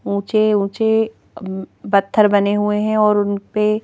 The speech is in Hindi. ऊंचे ऊंचे अम्म्म पत्थर बने हुए हैं और उन पे--